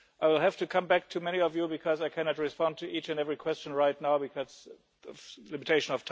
I will have to come back to many of you because I cannot respond to each and every question right now because of time limitations.